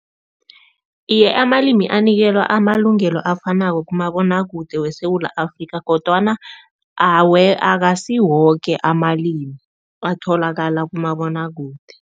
Iye, amalimi anikelwa amalungelo afanako kumabonwakude weSewula Afrika kodwana akasiwoke amalimi atholakala kumabonwakude.